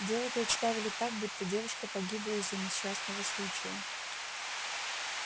дело представили так будто девушка погибла из-за несчастного случая